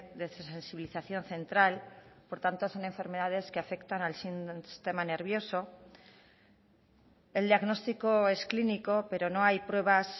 de sensibilización central por tanto son enfermedades que afectan al sistema nervioso el diagnóstico es clínico pero no hay pruebas